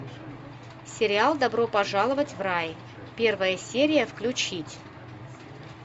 сериал добро пожаловать в рай первая серия включить